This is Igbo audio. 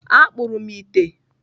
Akpụrụ m ite.